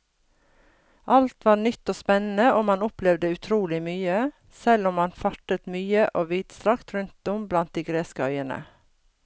Alt var nytt og spennende og man opplevde utrolig mye, selv om man fartet mye og vidstrakt rundt om blant de greske øyene.